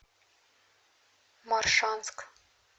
моршанск